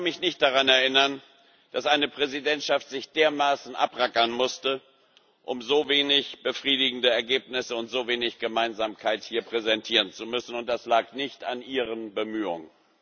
Ich kann mich nicht daran erinnern, dass eine Präsidentschaft sich dermaßen abrackern musste, um so wenig befriedigende Ergebnisse und so wenig Gemeinsamkeit hier präsentieren zu müssen, und das lag nicht an Ihren Bemühungen.